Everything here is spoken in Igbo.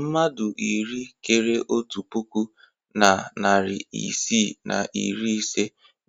Mmadụ iri kéré otu puku na narị isii na iri ise